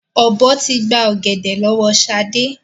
Ọ̀bọ tí gbà ọ̀gẹ̀dẹ̀ lọ́wọ́ sade